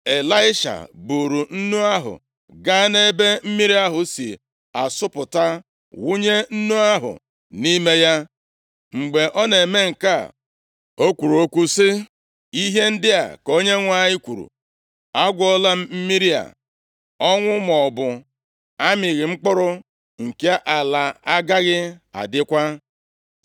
Ịlaisha buuru nnu ahụ gaa nʼebe mmiri ahụ si asọpụta, wụnye nnu ahụ nʼime ya. Mgbe ọ na-eme nke a, o kwuru okwu sị, “Ihe ndị a ka Onyenwe anyị kwuru, ‘Agwọọla m mmiri a. Ọnwụ maọbụ amịghị mkpụrụ nke ala agaghị adịkwa.’ ”